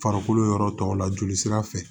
Farikolo yɔrɔ tɔw la jolisira fɛ